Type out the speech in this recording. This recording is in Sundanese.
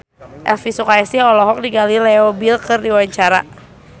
Elvi Sukaesih olohok ningali Leo Bill keur diwawancara